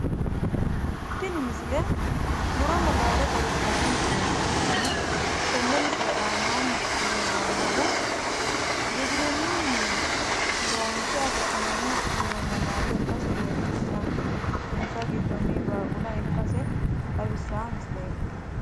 Tini misile muronna laalo xawissanno misileeti hattono tenne misile aanaanni leellannohu giwirinnunni loonse afi'neemmo muronna laalo ikkasi leellishshanno insa giddonni baaqula ikkase xawissaa misileeti